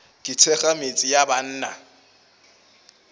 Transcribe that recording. ke thekga metse ya banna